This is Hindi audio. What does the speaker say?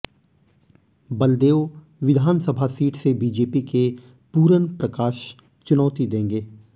बलदेव विधानसभा सीट से बीजेपी के पूरन प्रकाश चुनौती देंगे